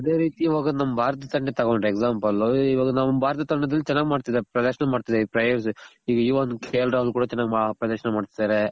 ಅದೆ ರೀತಿ ನಮ್ ಭಾರತ ತಂಡ ತಗೊಂಡ್ರೆ example ಇವಾಗ ನಮ್ ಭಾರತ ತಂಡದಲ್ಲಿ ಚೆನಾಗ್ ಮಾಡ್ತಿದಾರೆ ಪ್ರದರ್ಶನ ಮಾಡ್ತಿದಾರೆ ಈ ಒಂದು ಪ್ರದರ್ಶನ ಮಾಡ್ತಿದಾರೆ.